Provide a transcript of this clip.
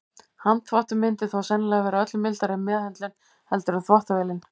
Handþvottur myndi þó sennilega vera öllu mildari meðhöndlun heldur en þvottavélin.